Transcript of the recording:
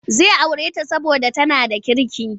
Zai aure ta saboda tana da kirki.